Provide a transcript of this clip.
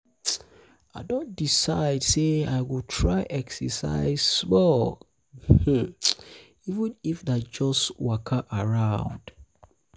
i don decide don decide sey i go try exercise um small um even if na just waka round.